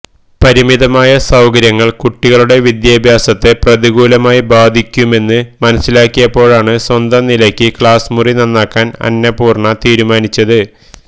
പരിമിതമായ സൌകര്യങ്ങള് കുട്ടികളുടെ വിദ്യാഭ്യാസത്തെ പ്രതികൂലമായി ബാധിക്കുമെന്ന് മനസ്സിലാക്കിയപ്പോഴാണ് സ്വന്തം നിലയ്ക്ക് ക്ലാസ്മുറി നന്നാക്കാന് അന്നപൂര്ണ തീരുമാനിച്ചത്